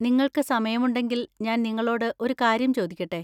നിങ്ങൾക്ക് സമയമുണ്ടെങ്കിൽ, ഞാൻ നിങ്ങളോട് ഒരു കാര്യം ചോദിക്കട്ടെ?